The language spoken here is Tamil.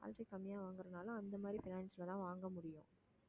salary கம்மியா வாங்கறதுனால அந்த மாதிரி finance லதான் வாங்க முடியும்